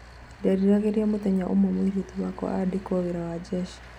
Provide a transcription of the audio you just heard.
"Ndierĩgagĩrĩra mũthenya ũmwe mũirĩtu wakwa nĩ akaandĩkwo wĩra nĩ jeshi".